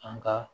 An ka